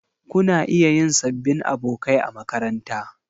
Kuna iya yin sabbin abokai a makaranta.